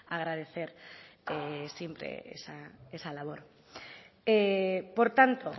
agradecer siempre esa labor por tanto